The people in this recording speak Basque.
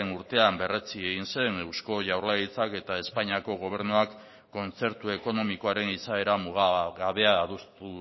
urtean berretsi egin zen eusko jaurlaritzak eta espainiako gobernuak kontzertu ekonomikoaren izaera mugagabea adostu